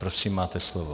Prosím, máte slovo.